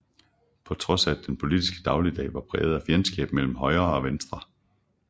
På trods af at den politiske dagligdag var præget af fjendskab mellem Højre og Venstre